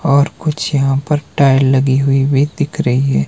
और कुछ यहां पर टाइल लगे हुई भी दिख रही है।